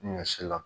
Ɲɔ si la